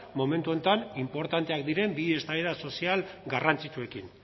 momentu honetan inportanteak diren bi eztabaida sozial garrantzitsuekin